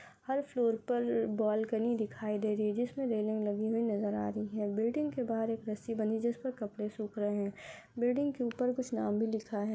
हर floor पर balcony दिखाई दे रही है जिसमे रेलिंग लगी हुई नजर आ रही है। बिल्डींग के बाहर एक रस्सी बंधी जिस पर कपडे सुख रहे है बिल्डींग के ऊपर कुछ नाम भी लिखा है।